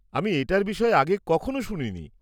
আমি এটার বিষয়ে আগে কখনো শুনিনি।